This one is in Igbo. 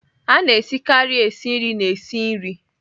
A na-esikarị esi nri na-esi nri